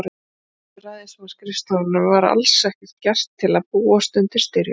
Af hálfu ræðismannsskrifstofunnar var alls ekkert gert til að búast undir styrjöld.